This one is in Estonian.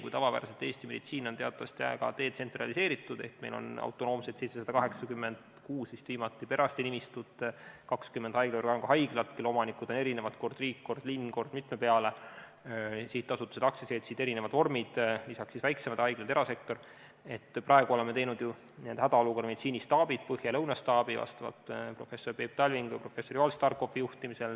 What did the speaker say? Kui tavapäraselt on Eesti meditsiin teatavasti väga detsentraliseeritud ehk meil on 786 autonoomset perearstinimistut – vist oli viimati –, 20 haiglavõrgu haiglat, kelle omanikud on erinevad, st kord riik, kord linn, kord mitme peale, sihtasutused, aktsiaseltsid, erinevad vormid, lisaks väiksemad haiglad, erasektor, siis praegu oleme teinud hädaolukorra meditsiinistaabid, põhja- ja lõunastaabi professor Peep Talvingu ja professor Joel Starkopfi juhtimisel.